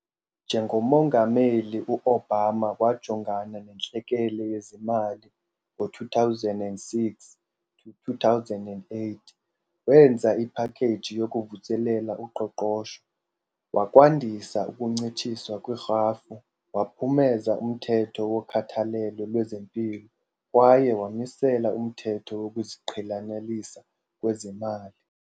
Njengomongameli, u-Obama wajongana nentlekele yezemali ngo-2007-2008, wenza iphakheji yokuvuselela uqoqosho, wakwandisa ukuncitshiswa kwerhafu, waphumeza umthetho wokhathalelo lwezempilo, kwaye wamisela umthetho wokuziqhelanisa kwezemali.